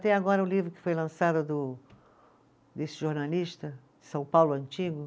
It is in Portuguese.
Tem agora o livro que foi lançado do, desse jornalista, São Paulo Antigo?